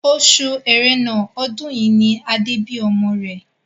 Oṣù ẹrẹ́nà ọdún yìí ni Adé bí ọmọ rẹ̀